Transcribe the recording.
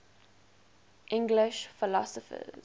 english philosophers